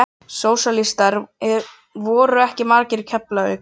Sósíalistar voru ekki margir í Keflavík.